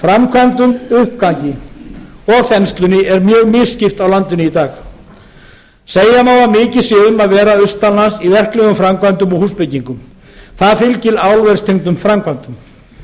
framkvæmdum uppgangi og þenslunni er mjög misskipt á landinu í dag segja má að mikið sé um að vera austanlands í verklegum framkvæmdum og húsbyggingum það fylgir álverstengdum framkvæmdum